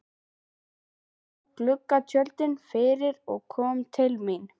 Hún dró gluggatjöldin fyrir og kom til mín.